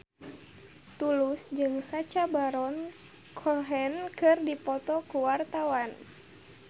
Tulus jeung Sacha Baron Cohen keur dipoto ku wartawan